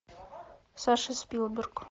саша спилберг